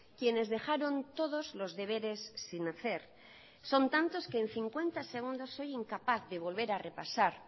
quienes dejaron todos los deberes sin hacer son tantos que en cincuenta segundos soy incapaz de volver a repasar